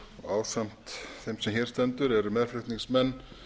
ásamt þeim sem hér stendur eru meðflutningsmenn